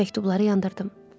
Məktubları yandırdım.